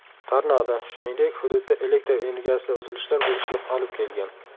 Tornado, shuningdek, hududda elektr energiyasida uzilishlar bo‘lishiga olib kelgan.